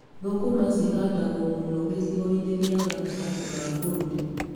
Thũkũma cihandagwo mũno gĩcigo-inĩ gĩa gatagatĩ ga bũrũri.